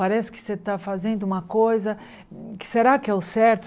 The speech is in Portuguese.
Parece que você está fazendo uma coisa, que será que é o certo?